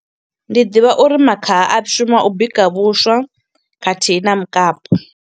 Ndi ḓivha uri makhaha a shuma u bika vhuswa, khathihi na mukapu.